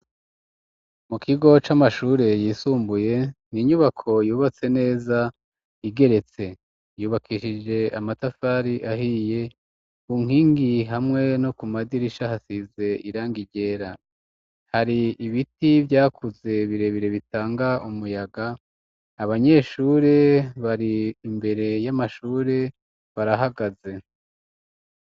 Mu kigo, c'amashure yisumbuye, ni inyubako yubatse neza, igeretse; yubakishije amatafari ahiye, ku nkingi, hamwe no ku madirisha, hasize irangi ryera; hari ibiti vyakuze, birebire, bitanga umuyaga; abanyeshure, bari imbere y'amashure, barahagaze.